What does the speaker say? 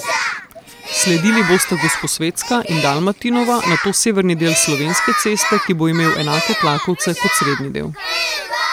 Sledili bosta Gosposvetska in Dalmatinova, nato severni del Slovenske ceste, ki bo imel enake tlakovce kot srednji del.